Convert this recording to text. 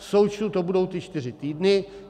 V součtu to budou ty čtyři týdny.